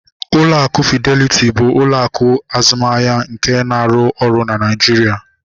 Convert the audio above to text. Ụlọ akụ Fideliti bụ ụlọ akụ azụmahịa nke na-arụ ọrụ na Naijiria